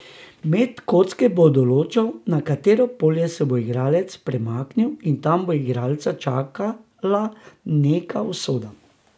Met kocke bo določal, na katero polje se bo igralec premaknil in tam bo igralca čakala neka usoda.